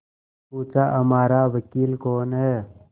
पूछाहमारा वकील कौन है